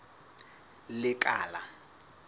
lekala